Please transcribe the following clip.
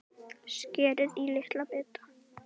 Skerið í litla bita.